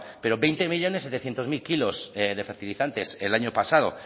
pero veinte millónes setecientos mil kilos de fertilizantes el año pasado